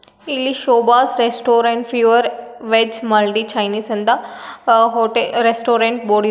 ಇಲ್ಲಿ Shobha's restaurant pure veg multi Chinese ಅಂತ ಆ- ಹೊಟೇ- ರೆಸ್ಟೋರೆಂಟ್ ಬೋರ್ಡ್ ಇದೆ.